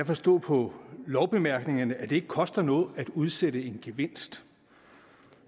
forstå på lovbemærkningerne at det ikke koster noget at udsætte en gevinst